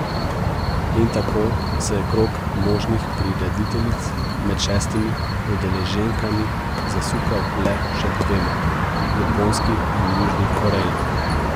In tako se je krog možnih prirediteljic med šestimi udeleženkami zasukal le še k dvema, Japonski in Južni Koreji.